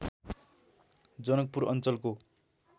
जनकपुर अञ्चलको